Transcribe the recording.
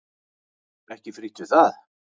Ekki frítt við það!